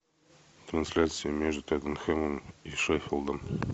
трансляция между тоттенхэмом и шеффилдом